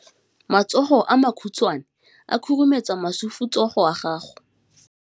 Matsogo a makhutshwane a khurumetsa masufutsogo a gago.